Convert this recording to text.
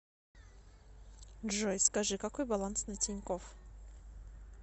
джой скажи какой баланс на тинькофф